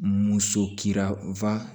Muso kira